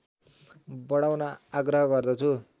बढाउन आग्रह गर्दछु